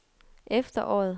efteråret